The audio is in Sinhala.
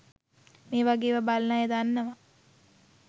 මේවගේ ඒවා බලන අය දන්නවා